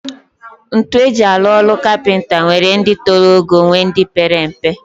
Ntu eji alu olu capenta nwere di tolog ogo nwee ndi pere mpe.